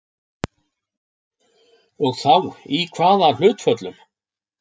Og þá í kvaða hlutföllum?